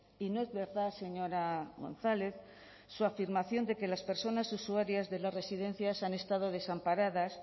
y no es verdad señora gonzález su afirmación de que las personas usuarias de las residencias han estado desamparadas